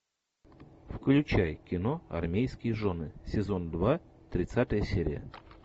включай кино армейские жены сезон два тридцатая серия